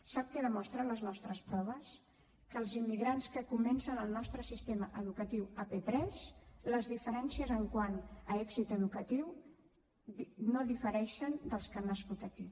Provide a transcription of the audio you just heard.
sap què demostren les nostres proves que en els immigrants que comencen el nostre sistema educatiu a p3 les diferències quant a èxit educatiu no difereixen dels que han nascut aquí